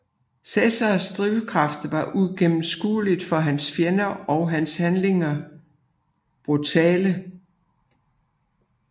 Cesares drivkraft var uigennemskuelig for hans fjender og hans handlinger brutale